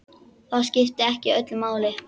Það skipti ekki öllu máli.